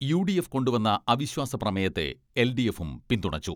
U D F കൊണ്ടു വന്ന അവിശ്വാസ പ്രമേയത്തെ എൽ ഡി എഫും പിന്തുണച്ചു.